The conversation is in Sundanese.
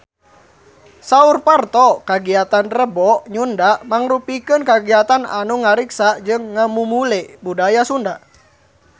Saur Parto kagiatan Rebo Nyunda mangrupikeun kagiatan anu ngariksa jeung ngamumule budaya Sunda